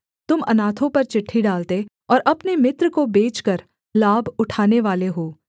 तुम अनाथों पर चिट्ठी डालते और अपने मित्र को बेचकर लाभ उठानेवाले हो